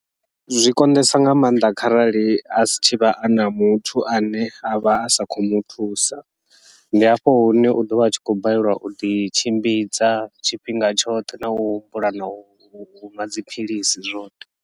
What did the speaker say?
Zwi konḓisa nga maanḓa kharali asi tshivha ana muthu ane avha a sa khou muthusa, ndi hafho hune u ḓovha atshi khou balelwa uḓi tshimbidza tshifhinga tshoṱhe nau humbula nau nwa dziphilisi zwoṱhe.